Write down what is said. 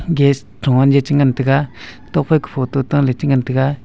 gas thung han je che ngan tega tokphai ka photo ta le che ngan tega.